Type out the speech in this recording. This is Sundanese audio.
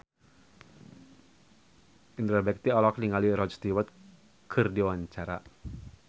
Indra Bekti olohok ningali Rod Stewart keur diwawancara